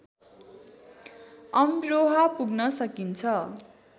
अमरोहा पुग्न सकिन्छ